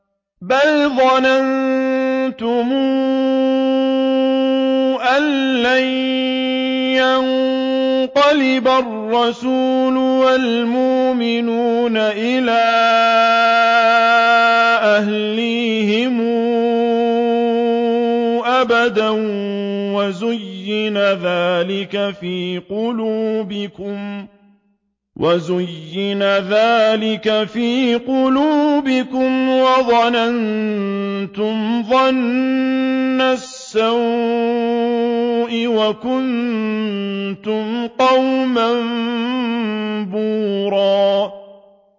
بَلْ ظَنَنتُمْ أَن لَّن يَنقَلِبَ الرَّسُولُ وَالْمُؤْمِنُونَ إِلَىٰ أَهْلِيهِمْ أَبَدًا وَزُيِّنَ ذَٰلِكَ فِي قُلُوبِكُمْ وَظَنَنتُمْ ظَنَّ السَّوْءِ وَكُنتُمْ قَوْمًا بُورًا